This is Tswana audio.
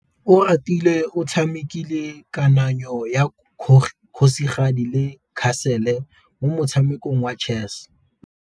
Oratile o tshamekile kananyô ya kgosigadi le khasêlê mo motshamekong wa chess.